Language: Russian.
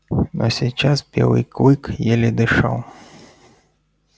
но сейчас белый клык еле дышал